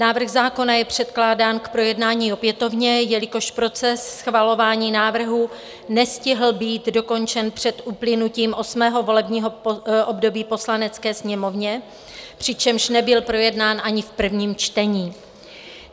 Návrh zákona je předkládán k projednání opětovně, jelikož proces schvalování návrhu nestihl být dokončen před uplynutím 8. volebního období Poslanecké sněmovny, přičemž nebyl projednán ani v prvním čtení.